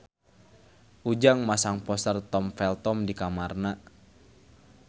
Ujang masang poster Tom Felton di kamarna